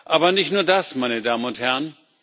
Aber nicht nur das, meine Damen und Herren.